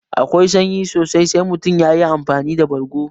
Akwai sanyi sosai sai mutum yayi amfani da bargo